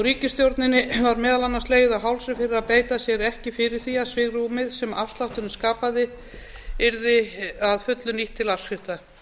ríkisstjórninni var meðal annars legið á hálsi fyrir að beita sér ekki fyrir því að svigrúmið sem afslátturinn skaða yrði að fullu nýtt til afskrifta